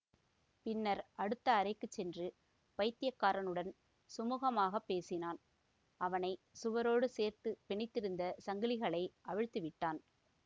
பின்னர் அடுத்த அறைக்கு சென்று பைத்தியக்காரனுடன் சுமுகமாகப் பேசினான் அவனை சுவரோடு சேர்த்து பிணைத்திருந்த சங்கிலிகளை அவிழ்த்து விட்டான்